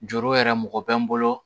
Juru yɛrɛ mɔgɔ bɛ n bolo